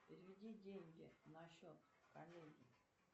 переведи деньги на счет коллеге